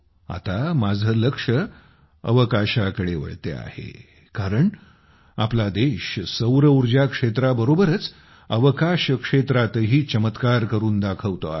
आता माझे लक्ष अवकाशाकडे वळते आहे कारण आपला देश सौरऊर्जा क्षेत्राबरोबरच अवकाश क्षेत्रातही चमत्कार करून दाखवतो आहे